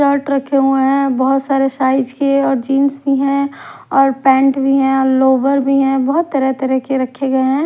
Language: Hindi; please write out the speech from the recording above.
शर्ट रखे हुए है बहोत सारे साइज के है और जींस भी है और पैंट भी है और लोअर भी है बहोत तरह-तरह के रखे गए है।